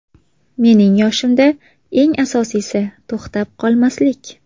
Mening yoshimda eng asosiysi – to‘xtab qolmaslik.